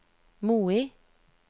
Moi